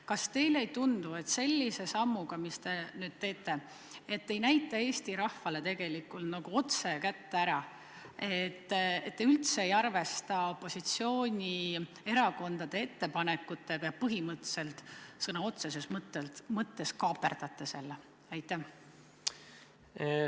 Kas teile ei tundu, et sellise sammuga, mis te nüüd teete, ei näita te Eesti rahvale tegelikult otse kätte ära, et te üldse ei arvesta opositsioonierakondade ettepanekutega ja põhimõtteliselt sõna otseses mõttes kaaperdate neid?